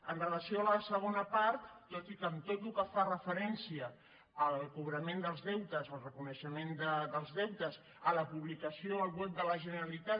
amb relació a la segona part tot i que amb tot el que fa referència al cobrament dels deutes al reconeixement dels deutes a la publicació al web de la generalitat